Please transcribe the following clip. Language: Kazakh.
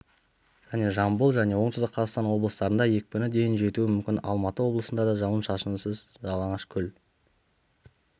және жамбыл және оңтүстік қазақстан облыстарында екпіні дейін жетуі мүмкін алматы облысында да жауын-шашынсыз жалаңашкөл